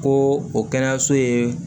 Ko o kɛnɛyaso ye